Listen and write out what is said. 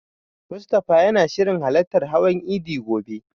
Mustafa yana shirin halartar hawan idi gobe.